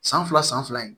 San fila san fila ye